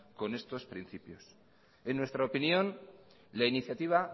con estos principios en nuestra opinión la iniciativa